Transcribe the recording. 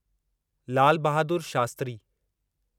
Lal Bahadur Shastri